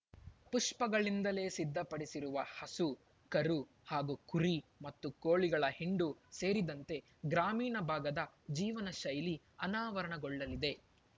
ಪುಷ್ಪಗಳಿಂದಲೇ ಸಿದ್ಧ ಪಡಿಸಿರುವ ಹಸು ಕರು ಹಾಗೂ ಕುರಿ ಮತ್ತು ಕೋಳಿಗಳ ಹಿಂಡು ಸೇರಿದಂತೆ ಗ್ರಾಮೀಣ ಭಾಗದ ಜೀವನ ಶೈಲಿ ಅನಾವರಣಗೊಳ್ಳಲಿದೆ